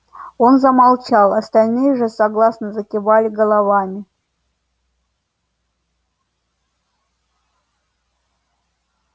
он замолчал остальные же согласно закивали головами